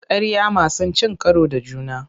Ƙarya masu cin karo da juna.